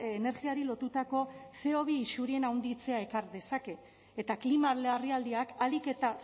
energiari lotutako ce o bi isurien handitzea ekar dezake eta klima larrialdiak ahalik eta